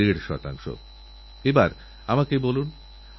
যে গাছ দান করে তাঁকে ওই গাছসন্তানের মতো পরলোকেও পার করে দেয়